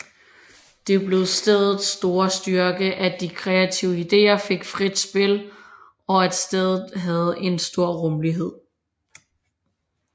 Det blev stedets store styrke at de kreative ideer fik frit spil og at stedet havde en stor rummelighed